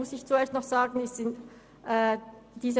Nun komme ich zum Minderheitsantrag, der Planungserklärung 1.